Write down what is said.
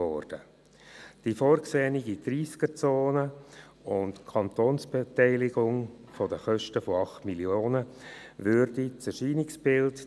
Dadurch und durch die Tempo-30-Zone würde das Erscheinungsbild des Strassenraums zeitgemäss und dem Dorf angepasst sein.